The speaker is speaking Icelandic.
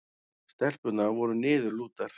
Stelpurnar voru niðurlútar.